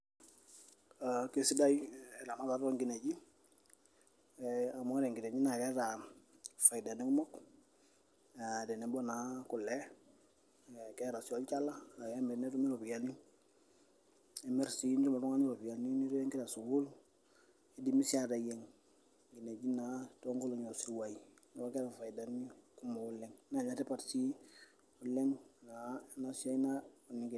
aa kesidai eramatata oonkineji ee amu ore nkineji naa keeta ifaidani kumok aa tenebo naa kule keeta sii olchala laa kemiri netumi iropiyiani nimirr nitum oltung'ani iropiyiani nirewie inkera sukuul idimi sii aateyieng inkineji naa toonkolong'i oosiruai neeku keeta ifaidani kumok oleng.